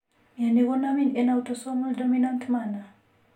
Mioni konamin en autosomal dominant manner.